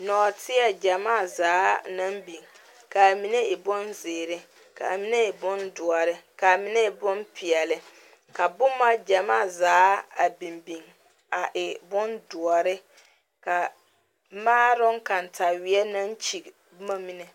Nɔɔteɛ gyamaa zaa naŋ biŋ ka a mine e boŋ zeere, ka a mine e boŋ doɔre, ka a mine boŋ peɛle, ka boma gyamaa zaa a biŋ biŋ a e boŋ doɔre ka maaroŋ kataweɛ naŋ kyigi boma mine.